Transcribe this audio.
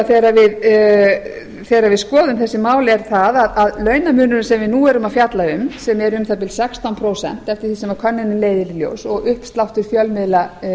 þegar við skoðum þessi mál er það að launamunurinn sem við nú erum að fjalla um sem er um það bil sextán prósent eftir því sem könnunin leiðir í ljós og uppsláttur fjölmiðla